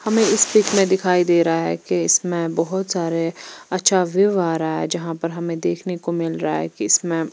हमे इस पीक मे दिखाई दे रहा है की इसमे बहुत सारे अच्छा व्यू आ रहा है जहां पर हमे देखने को मिल रहा है की इसमे--